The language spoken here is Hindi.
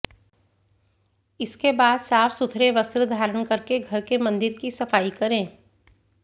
इसके बाद साफ़ सुथरे वस्त्र धारण करके घर के मंदिर की सफाई करें